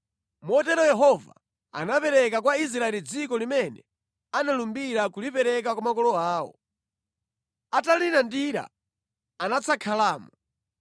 Motero Yehova anapereka kwa Israeli dziko limene analumbira kulipereka kwa makolo awo. Atalilandira anadzakhalamo.